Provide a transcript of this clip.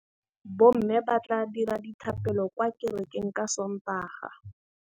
Bommê ba tla dira dithapêlô kwa kerekeng ka Sontaga.